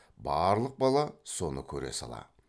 барлық бала соны көре сала